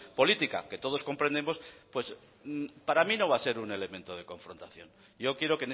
política que todos comprendemos para mí no va a ser un elemento de confrontación yo quiero